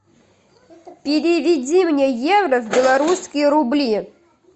переведи мне евро в белорусские рубли